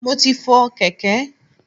Mo ti fọ kèké.